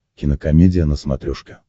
кинокомедия на смотрешке